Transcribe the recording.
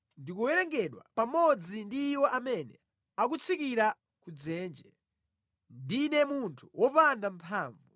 Ndikuwerengedwa pamodzi ndi iwo amene akutsikira ku dzenje; ndine munthu wopanda mphamvu.